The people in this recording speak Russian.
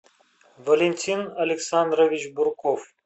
валентин александрович бурков